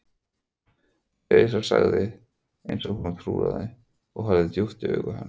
Elísa sagði hún eins og í trúnaði og horfði djúpt í augu hans.